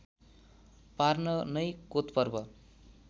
पार्न नै कोतपर्व